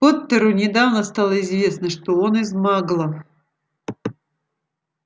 поттеру недавно стало известно что он из маглов